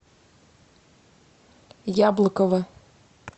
яблокова